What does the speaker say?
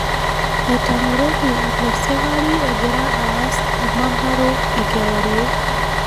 Etang'oroki ile sikari egiraa aas emanaro ekewarie